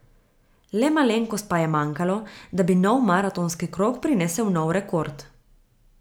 Le malenkost pa je manjkalo, da bi nov maratonski krog prinesel nov rekord.